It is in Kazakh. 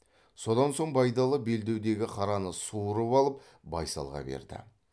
содан соң байдалы белдеудегі қараны суырып алып байсалға берді